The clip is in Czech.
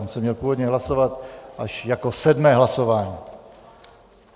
On se měl původně hlasovat až jako sedmé hlasování.